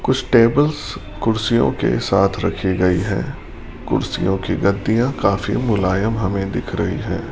कुछ टेबल्स कुर्सियों के साथ रखी गई है कुर्सियों की गद्दियां काफी मुलायम हमें दिख रही है।